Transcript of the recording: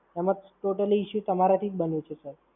એમાં Total issue તમારાથી જ બન્યો છે sir